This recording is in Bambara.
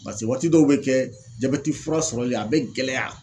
paseke waati dɔw be kɛ jabɛti fura sɔrɔli a bɛ gɛlɛya.